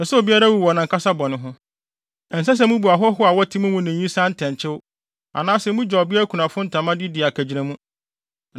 Ɛnsɛ sɛ mubu ahɔho a wɔte mo mu ne nyisaa ntɛnkyew, anaasɛ mugye ɔbea kunafo ntama de di akagyinamu.